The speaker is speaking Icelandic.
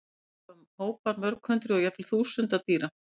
Sést hafa hópar mörg hundruð og jafnvel þúsunda dýra.